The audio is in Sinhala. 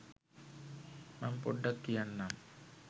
මං පොඩ්ඩක් කියන්නම්.